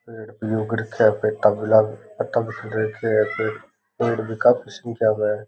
पेड़ भी उग रखे है पतंग गुलाबी कलर का पेड़ भी काफी संख्या में है।